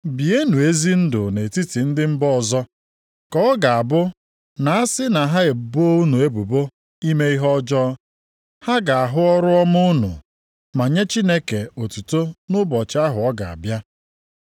Bienụ ezi ndụ nʼetiti ndị mba ọzọ, ka ọ ga-abụ na a sị na ha ebo unu ebubo ime ihe ọjọọ, ha ga-ahụ ọrụ ọma unu, ma nye Chineke otuto nʼụbọchị ahụ ọ ga-abịa.